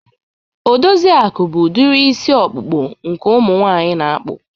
Odoziaku bụ udiri isi ọkpụkpụ nke umu nwaanyị na-akpụ.